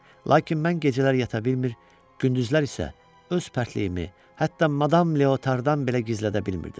Lakin mən gecələr yata bilmir, gündüzlər isə öz pərtliyimi, hətta madam Leotardan belə gizlədə bilmirdim.